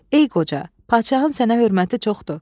Ey qoca, padşahın sənə hörməti çoxdur.